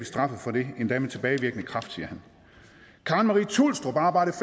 straffet for det endda med tilbagevirkende kraft siger han karen marie thulstrup arbejdede